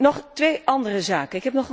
Nog twee andere zaken.